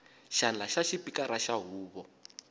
xandla xa xipikara xa huvo